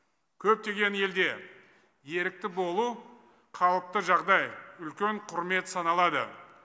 көптеген елде ерікті болу қалыпты жағдай үлкен құрмет саналады